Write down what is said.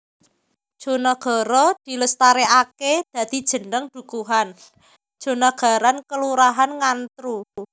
Jonagara dilestareake dadi jeneng dukuhan Jonagaran Kelurahan Ngantru